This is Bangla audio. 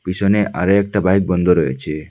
পিছনে আরও একটা বাইক বন্ধ রয়েছে।